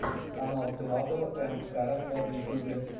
канал филатова энд караса в ютюбе